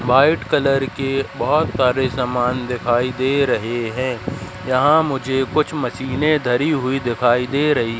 white colour की बहोत सारे सामान दिखाई दे रहे हैं यहां मुझे कुछ मशीनें धरी हुई दिखाई दे रही--